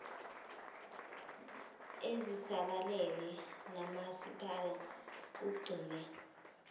ezisabalele nomasipala kugxile